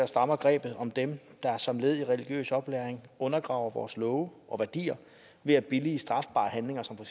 strammer grebet om dem der som led i religiøs oplæring undergraver vores love og værdier ved at billige strafbare handlinger som